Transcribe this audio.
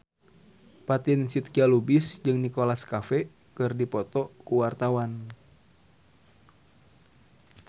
Fatin Shidqia Lubis jeung Nicholas Cafe keur dipoto ku wartawan